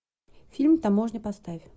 фильм таможня поставь